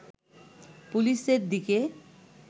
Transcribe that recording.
পুলিশের দিকে